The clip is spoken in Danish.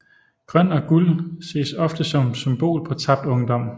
Grøn og guld ses ofte som symbol på tabt ungdom